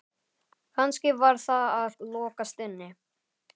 Kannski var það að lokast inni?